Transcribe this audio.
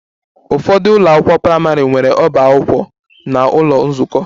Ụfọdụ ụlọ akwụkwọ praịmarị nwere ọba akwụkwọ na ụlọ nzukọ